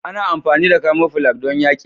Ana amfani da camoflage don yaƙi.